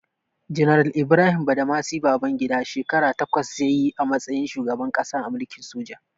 Janar Ibrahim Badamasi Babangida, shekara takwas ya yi a matsayin shugaban ƙasa a mulkin soja.